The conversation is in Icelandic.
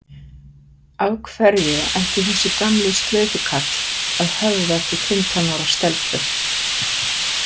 Af hverju ætti þessi gamli slaufukall að höfða til fimmtán ára stelpu?